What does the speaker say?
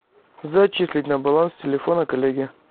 зачислить на баланс телефона коллеги